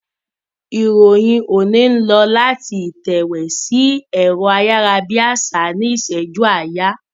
Ìròyìn òní ń lọ láti ìtẹ̀wé sí ẹ̀rọ ayárabíàṣá ní ìṣẹ́jú àáyá.